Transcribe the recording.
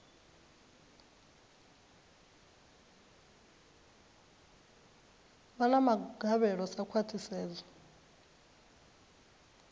vha na magavhelo sa khwahisedzo